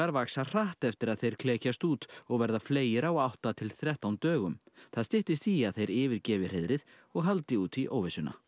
vaxa hratt eftir að þeir klekjast út og verða fleygir á átta til þrettán dögum það styttist í að þeir yfirgefi hreiðrið og haldi út í óvissuna